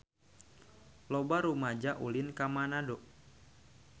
Loba rumaja ulin ka Manado